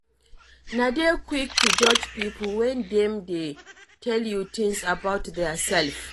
No dey quick to judge pipo when dem dey tell you things about their self